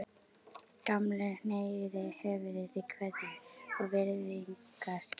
Gamli hneigði höfuðið í kveðju- og virðingarskyni.